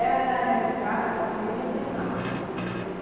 Ela era registrada como Ilha da Inácia.